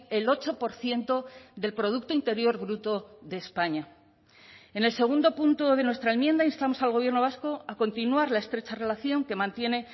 el ocho por ciento del producto interior bruto de españa en el segundo punto de nuestra enmienda instamos al gobierno vasco a continuar la estrecha relación que mantiene